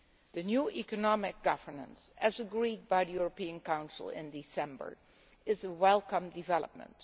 The new economic governance as agreed by the European Council in December is a welcome development.